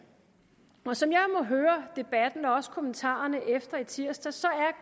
og som jeg må høre debatten og også kommentarerne efter i tirsdags